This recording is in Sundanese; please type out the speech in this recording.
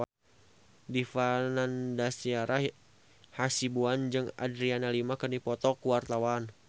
Dipa Nandastyra Hasibuan jeung Adriana Lima keur dipoto ku wartawan